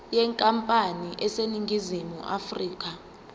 yenkampani eseningizimu afrika